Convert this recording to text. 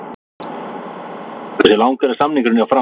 Hversu langur er samningurinn hjá Fram?